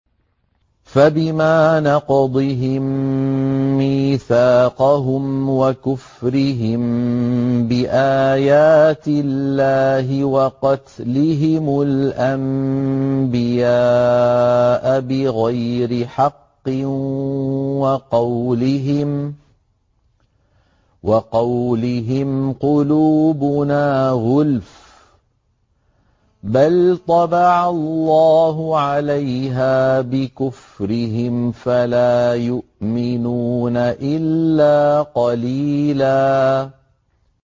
فَبِمَا نَقْضِهِم مِّيثَاقَهُمْ وَكُفْرِهِم بِآيَاتِ اللَّهِ وَقَتْلِهِمُ الْأَنبِيَاءَ بِغَيْرِ حَقٍّ وَقَوْلِهِمْ قُلُوبُنَا غُلْفٌ ۚ بَلْ طَبَعَ اللَّهُ عَلَيْهَا بِكُفْرِهِمْ فَلَا يُؤْمِنُونَ إِلَّا قَلِيلًا